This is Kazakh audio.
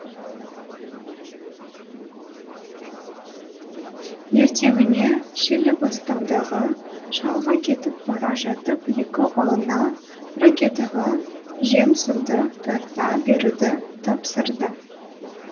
ертеңіне шилібастаудағы шалға кетіп бара жатып екі ұлына ракетаға жем суды тарта беруді тапсырды